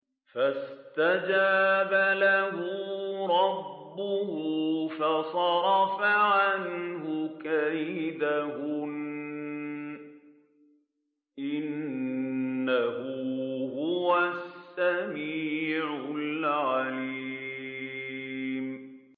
فَاسْتَجَابَ لَهُ رَبُّهُ فَصَرَفَ عَنْهُ كَيْدَهُنَّ ۚ إِنَّهُ هُوَ السَّمِيعُ الْعَلِيمُ